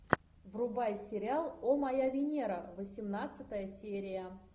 врубай сериал о моя венера восемнадцатая серия